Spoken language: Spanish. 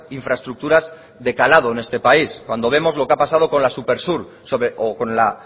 infraestructuras de calado en este país cuando vemos lo que ha pasado con la supersur o con la